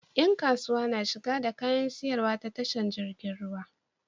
Yan kasuwa na shigo da kayan siyarwa ta tashar jirgin ruwa